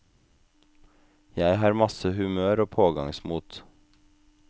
Jeg har masse humør og pågangsmot.